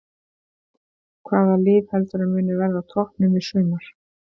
Hvaða lið heldurðu að muni verða á toppnum í sumar?